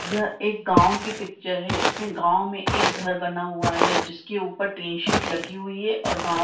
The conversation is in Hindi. यह एक गांव की पिक्चर है इसमें गांव में एक घर बना हुआ है जिसके ऊपर टिन सीट लगी हुई है और गांव--